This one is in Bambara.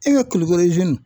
E ka kulikoro